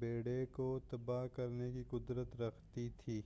بیڑے کو تباہ کرنے کی قدرت رکھتی تھی۔